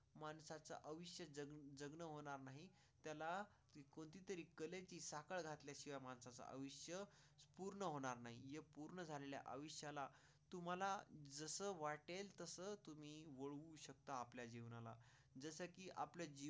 त्याला तरी कळले की साखर घातल्याशिवाय माणसाचं आयुष्य पूर्ण होणार नाही. पूर्ण झालेल्या आयुष्याला तुम्हाला जसं वाटेल तसं तुम्ही शकता. आपल्या जीवनाला जसं की आपल्याची.